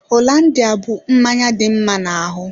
Hollandia bú mmanya dị mma na ahụ.